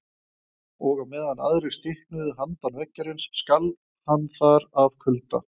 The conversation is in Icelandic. Og á meðan aðrir stiknuðu handan veggjarins skalf hann þar af kulda.